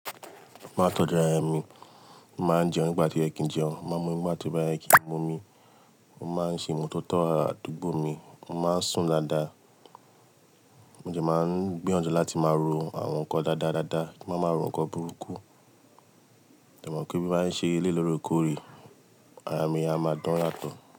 Máa tọ́jú ara mi, máa ń jẹun nígbà tó yẹ kiń jẹun. Máa mu omi nígbà tóbá yẹ kìn ń mu omi. Mo máa ń ṣe ìmọ́ tótó àdúgbò mi, mo máa ń sùn dáadáa. Mo jẹ máa ń gbìyànjú láti máa ro àwọn nǹkan dáadáa dáadáa kí n má máa ro nǹkan burúkú. Mo mọ̀ pé bí n bá ń ṣe eléyìí lórèkóré, ara mi a máa dán yàtọ̀.